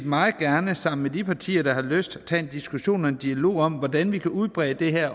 meget gerne sammen med de partier der har lyst tage en diskussion af og en dialog om hvordan vi kan udbrede det her